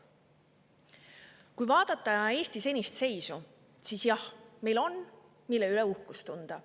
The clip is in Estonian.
Kui vaadata Eesti senist seisu, siis jah, meil on, mille üle uhkust tunda.